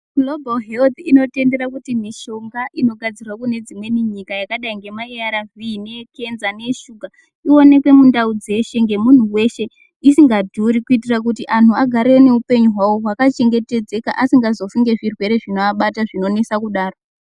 Global health inotendera kuti mishonga inogadzirwa kunedzimweni nyika yakadai ngema ARV, neye Cancer neye Sugar ionekwe mundau dzeshe ngemuntu weshe isinga dhuri kuitira kuti anhu agare neupenyu hwawo hwakachengetedzeka asingazofi ngezvirwere zvinoabata zvinonesa kudaro.